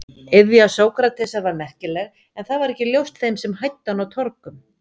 Iðja Sókratesar var merkileg en það var ekki ljóst þeim sem hæddu hann á torgum.